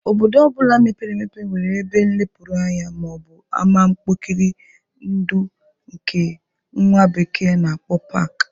Obodo ọ bụla mepere emepe nwere ebe nlepụrụ anya ma ọ bụ ama mkpori ndụ nke nwa bekee na-akpo pak.